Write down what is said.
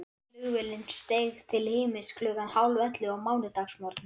Flugvélin steig til himins klukkan hálfellefu á mánudagsmorgni.